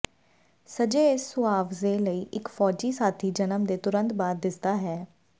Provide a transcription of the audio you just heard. ਸੱਜੇ ਇਸ ਮੁਆਵਜ਼ੇ ਲਈ ਇੱਕ ਫੌਜੀ ਸਾਥੀ ਜਨਮ ਦੇ ਤੁਰੰਤ ਬਾਅਦ ਦਿਸਦਾ ਹੈ ਹੈ